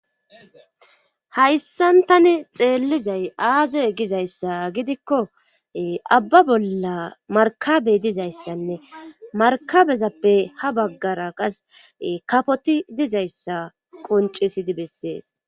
hayssan tani xeellizay aazey gizayssa gidikko abba bolla markabey dizayssanne markabezappe ha baggara qas kapoti dizayssa qoncisidi bessees